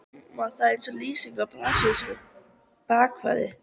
Hljómar það eins og lýsing á brasilískum bakverði?